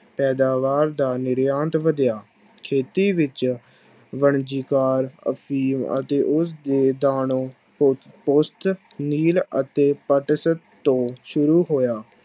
ਪੈਦਾਵਾਰ ਦਾ ਨਿਰਯਾਤ ਵਧਿਆ, ਖੇਤੀ ਵਿੱਚ ਵਣਜੀਕਾਰ ਅਫ਼ੀਮ ਅਤੇ ਉਸਦੇ ਨੀਲ ਅਤੇ ਪਟਸਨ ਤੋਂ ਸ਼ੁਰੂ ਹੋਇਆ।